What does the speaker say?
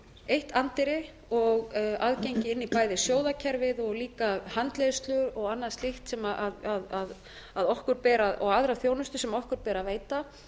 eitt anddyri og aðgengi inn í bæði sjóðakerfið og líka handleiðslu og annað slíkt sem okkur ber og aðra þjónustu sem okkur ber að veita